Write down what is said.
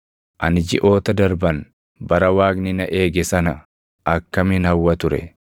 “Ani jiʼoota darban, bara Waaqni na eege sana akkamin hawwa ture,